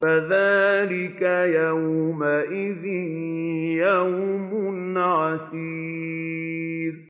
فَذَٰلِكَ يَوْمَئِذٍ يَوْمٌ عَسِيرٌ